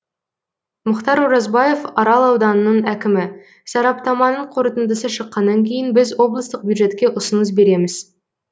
мұхтар оразбаев арал ауданының әкімі сараптаманың қорытындысы шыққаннан кейін біз облыстық бюджетке ұсыныс береміз